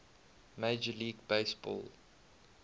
major league baseball